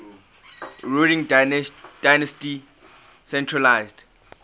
ruling dynasty centralised